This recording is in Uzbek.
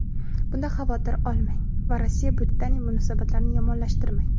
bundan xavotir olmang va Rossiya-Britaniya munosabatlarini yomonlashtirmang.